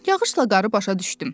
Yağışla qarı başa düşdüm.